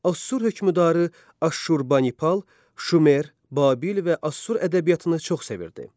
Assur hökmdarı Aşurbanipal Şumer, Babil və Assur ədəbiyyatını çox sevirdi.